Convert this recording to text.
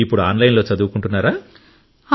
ఇప్పుడు online లో చదువుకుంటున్నారా